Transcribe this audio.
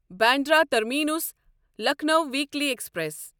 Bandra terminus Lucknow weekly express